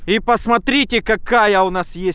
и посмотрите какая у нас есть